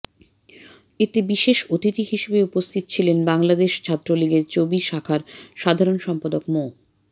এতে বিশেষ অতিথি হিসেবে উপস্থিত ছিলেন বাংলাদেশ ছাত্রলীগের চবি শাখার সাধারণ সম্পাদক মো